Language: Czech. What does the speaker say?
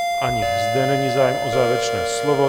Ani zde není zájem o závěrečné slovo.